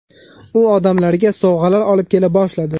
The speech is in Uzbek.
U odamlarga sovg‘alar olib kela boshladi.